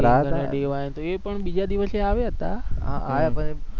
king અને DY તો એ પણ બીજા દિવસે આવ્યા હતા,